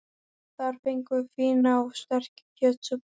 Þar fengum við fína og sterka kjötsúpu.